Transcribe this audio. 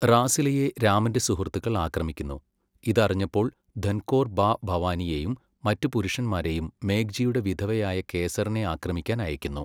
റാസിലയെ രാമന്റെ സുഹൃത്തുക്കൾ ആക്രമിക്കുന്നു, ഇത് അറിഞ്ഞപ്പോൾ ധൻകോർ ബാ ഭവാനിയെയും മറ്റ് പുരുഷന്മാരെയും മേഘ്ജിയുടെ വിധവയായ കേസറിനെ ആക്രമിക്കാൻ അയയ്ക്കുന്നു.